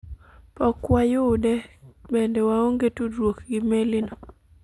pok wayude, bende waonge tudruok gi meli no